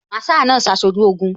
Masaa náà ṣaṣojú Ogun